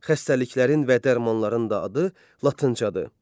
Xəstəliklərin və dərmanların da adı latıncadır.